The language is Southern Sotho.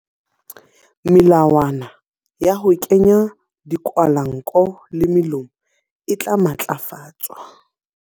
Melawana ya ho kenya dikwahelanko le molomo e tla matlafatswa.